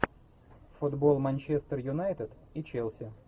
футбол манчестер юнайтед и челси